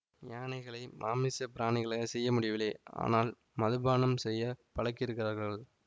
யானைகளை மாமிச பராணிகளாகச் செய்ய முடியவில்லை ஆனால் மதுபானம் செய்ய பழக்கியிருக்கிறார்கள்